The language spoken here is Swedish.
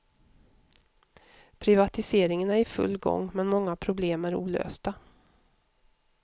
Privatiseringen är i full gång, men många problem är olösta.